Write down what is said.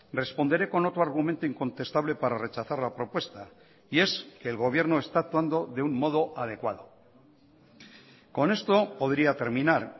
responderé con otro argumento incontestable para rechazar la propuesta y es que el gobierno está actuando de un modo adecuado con esto podría terminar